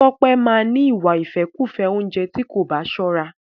Tọ́pẹ́ máa ni ìwà ìfẹ́kùfẹ́ oúnjẹ tí kò bá sọ́ra.